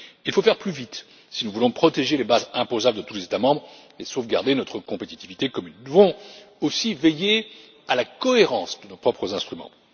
Il faut faire plus vite si nous voulons protéger les bases imposables de tous les États membres et sauvegarder notre compétitivité commune. Nous devons aussi veiller à la cohérence de nos propres instruments.